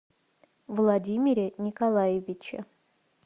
владимире николаевиче